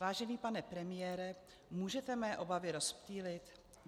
Vážený pane premiére, můžete mé obavy rozptýlit?